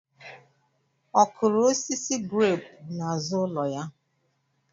Ọ kụrụ osisi greepu n'azụ ụlọ anyị?